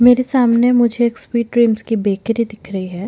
मेरे सामने मुझे एक स्वीट ड्रीम्स की बेकरी दिख रही है।